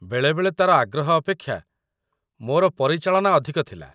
ବେଳେବେଳେ ତାର ଆଗ୍ରହ ଅପେକ୍ଷା ମୋର ପରିଚାଳନା ଅଧିକ ଥିଲା।